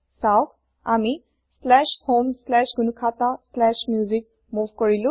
চাওক আমি homegnukhataMusic মোভ কৰিলো